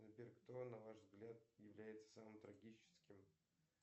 сбер кто на ваш взгляд является самым трагическим